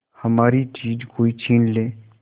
हमारी चीज कोई छीन ले